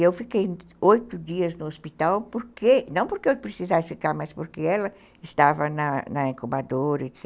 E eu fiquei oito dias no hospital, não porque eu precisasse ficar, mas porque ela estava na na incubadora, etc.,